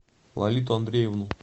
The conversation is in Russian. лолиту андреевну